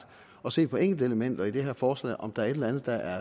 at se på enkelte elementer i det her forslag og på om der er et eller andet der